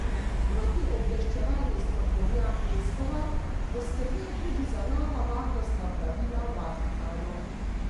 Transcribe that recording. Protiobveščevalni strokovnjak Leskovar bo skrbel tudi za nova varnostna pravila v Vatikanu.